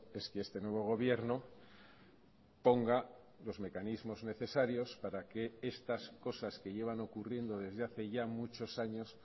es que este nuevo gobierno ponga los mecanismos necesarios para que estas cosas que llevan ocurriendo desde hace ya muchos años